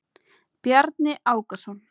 Bjarni Ákason.